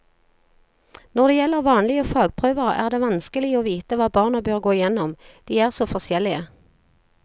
Når det gjelder vanlige fagprøver er det vanskelig å vite hva barna bør gå gjennom, de er så forskjellige.